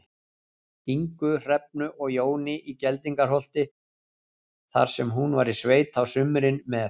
Ingu, Hrefnu og Jóni í Geldingaholti, þar sem hún var í sveit á sumrin með